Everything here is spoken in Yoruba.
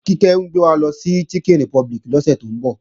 Kíkẹ́ ń gbé wa lọ sí Chicken Republic lọ́sẹ̀ tó ń bọ̀